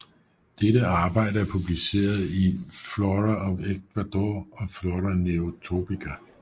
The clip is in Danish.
Dette arbejde er publiceret I Flora of Ecuador og Flora Neotropica